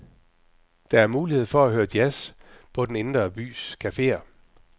Der er mulighed for at høre jazz på den indre bys caféer.